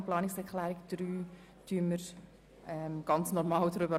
Über die Planungserklärung 3 stimmen wir ganz normal ab.